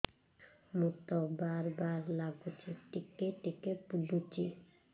ମୁତ ବାର୍ ବାର୍ ଲାଗୁଚି ଟିକେ ଟିକେ ପୁଡୁଚି